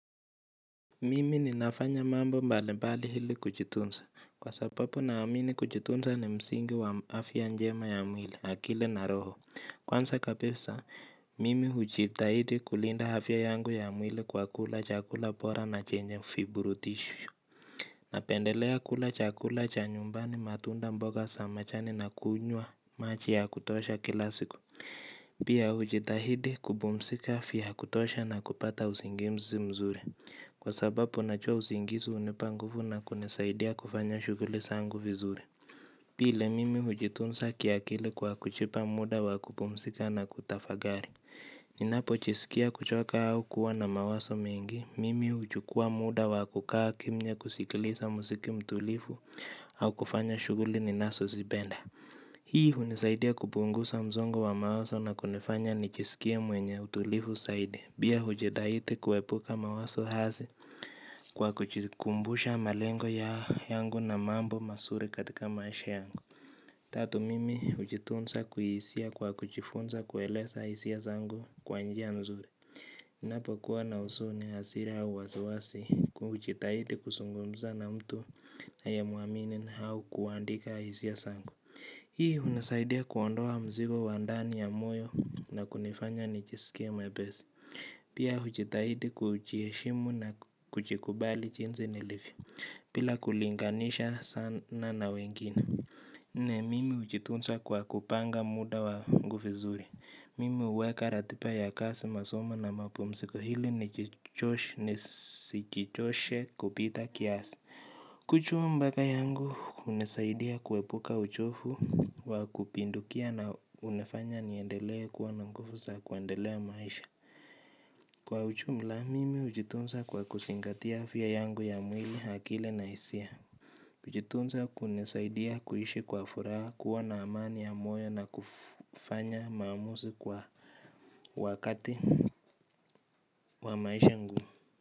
Mimi ninafanya mambo mbalimbali ili kujitunza kwa sababu naamini kujitunza ni msingi wa afya njema ya mwili na akili na roho. Kwanza kabisa mimi hujitahidi kulinda afya yangu ya mwili kwa kula chakula bora na chenye viburudishisho. Napendelea kula chakula cha nyumbani matunda mboga za majani na kuunywa maji ya kutosha kila siku. Pia hujitahidi kupumzika vya kutosha na kupata usingizi mzuri. Kwa sababu najua usingisi hunipa nguvu na kunisaidia kufanya shughuli zangu vizuri. Pili mimi hujitunza kiakili kwa kujipa muda wa kupumzika na kutafakari. Ninapojisikia kuchoka au kuwa na mawazo mengi, mimi huchukua muda wa kukaa kimya kusikiliza muziki mtulivu au kufanya shughuli ninazozipenda. Hii hunisaidia kupungusa msongo wa mawazo na kunifanya nijisikie mwenye utulivu zaidi. Pia hujitahidi kuepuka mawazo hasi kwa kujikumbusha malengo yangu na mambo mazuri katika maisha yangu. Tatu mimi hujitunza kuhisia kwa kujifunza kueleza hisia zangu kwa njia nzuri ninapokuwa na huzuni hasira au wasiwasi kujitahidi kuzungumza na mtu ninayemuamini au kuandika hisia zangu hii hunisaidia kuondoa mzigo wa moyo na kunifanya nijiskie mwepesi. Pia hujitahidi kujiheshimu na kujikubali jinsi nilivyo bila kulinganisha sana na wengine. Naam mimi hujitunza kwa kupanga muda wangu vizuri. Mimi huweka ratiba ya kazi masomo na mapumziko hili nisijichoshe kupita kiasi. Kuchwa mbele yangu hunisaidia kuepuka uchovu wa kupindukia na hunifanya niendelee kuwa na nguvu za kuendelea maisha. Kwa ujumla mimi hujitunza kwa kuzingatia afya yangu ya mwili akili na hisia hujitunza kunisaidia kuishi kwa furaha kuwa na amani ya moyo na kufanya maamuzi kwa wakati wa maisha ngumu.